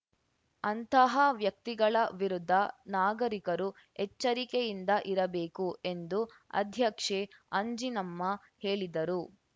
ಅಂಥಹ ವ್ಯಕ್ತಿಗಳ ವಿರುದ್ಧ ನಾಗರಿಕರು ಎಚ್ಚರಿಕೆಯಿಂದ ಇರಬೇಕು ಎಂದು ಅಧ್ಯಕ್ಷೆ ಅಂಜಿನಮ್ಮ ಹೇಳಿದರು